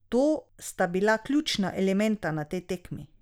To sta bila ključna elementa na tej tekmi.